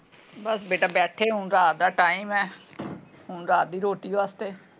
ਬਸ ਬੇਟਾ ਬੈਠੇ ਹੁਣ ਰਾਤ ਦਾ time ਹੈ ਹੁਣ ਰਾਤ ਦੀ ਰੋਟੀ ਵਾਸਤੇ।